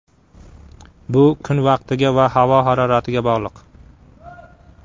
Bu kun vaqtiga va havo haroratiga bog‘liq.